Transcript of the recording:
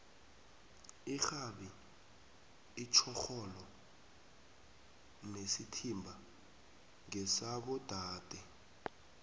irhabi itjhorhoro nesithimba ngesabo dade